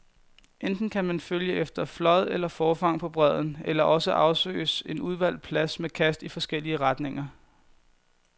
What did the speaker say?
Enten kan man følge efter flåd eller forfang på bredden, eller også afsøges en udvalgt plads med kast i forskellige retninger.